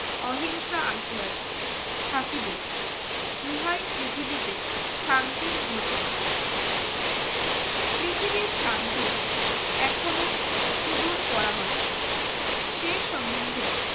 অহিংসা আসিয়াছে থাকবেও ইহাই পৃথিবীতে শান্তির ঘোষণা পৃথিবীর শান্তি এখনো সুদূর পরাহত সে সম্বন্ধে